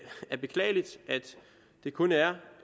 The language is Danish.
det kun er